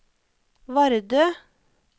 Vardø